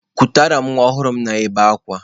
Kutere m nwa ọhụrụ m na-ebe akwa!